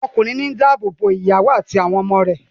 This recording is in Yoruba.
Ọkùnrin ló ń dá ààbò bo ìyàwó àti àwọn ọmọ rẹ̀